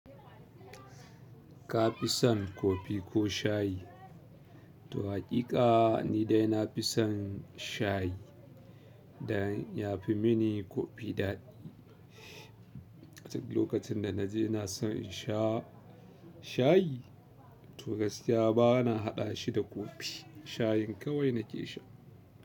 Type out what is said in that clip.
Ka fi son kofi ko shayi? To haƙiƙa ni dai na fi son shayi dan ya fi mini kofi daɗi. Duk lokacin da na je na san in sha shayi to gaskiya ba na haɗa shi da kofi. Shayin kawai na ke sha.